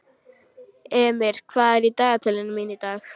Emir, hvað er í dagatalinu mínu í dag?